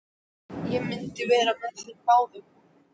Ég myndi vera með þeim báðum!